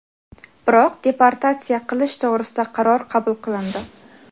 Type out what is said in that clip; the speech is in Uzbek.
biroq deportatsiya qilish to‘g‘risida qaror qabul qilindi.